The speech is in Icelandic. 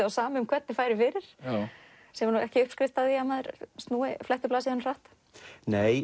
á sama hvernig færi fyrir sem er ekki uppskrift að því að maður fletti blaðsíðunum hratt nei